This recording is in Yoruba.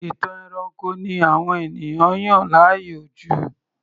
Ìtàn ẹranko ni àwọn ènìyàn yàn láàyò jù